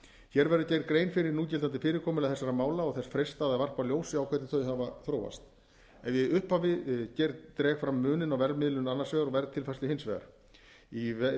hér verður gerð grein fyrir núgildandi fyrirkomulagi þessara mála og þess freistað að varpa ljósi á hvernig þau hafa þróast ef ég í upphafi skal dreg fram muninn á verðmiðlun annars vegar og verðtilfærslu hins vegar í